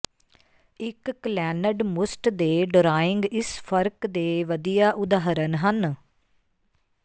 ਇੱਕ ਕਲੈੱਨਡ ਮੁਸਟ ਦੇ ਡਰਾਇੰਗ ਇਸ ਫਰਕ ਦੇ ਵਧੀਆ ਉਦਾਹਰਣ ਹਨ